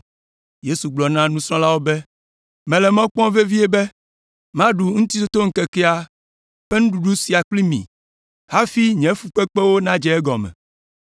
Yesu gblɔ na nusrɔ̃lawo be, “Menɔ mɔ kpɔm vevie be maɖu Ŋutitotoŋkekea ƒe nuɖuɖu sia kpli mi hafi nye fukpekpewo nadze egɔme.